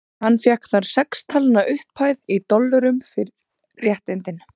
Hann fékk þar sex talna upphæð, í dollurum, fyrir réttindin.